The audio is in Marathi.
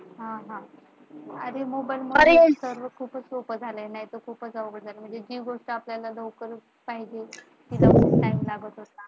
हा हा आधी मोबाइल मध्ये , खूप सोपं झालाय नाहीतर सगळं खूप अवघड झाले असते. म्हणजे जी गोष्ट आपल्याला लवकर पाहिजे तिला खूप च वेळ लागत होता.